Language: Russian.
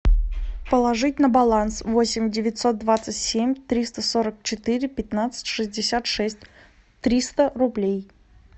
положить на баланс восемь девятьсот двадцать семь триста сорок четыре пятнадцать шестьдесят шесть триста рублей